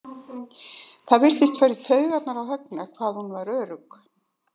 Það virtist fara í taugarnar á Högna hvað hún var örugg.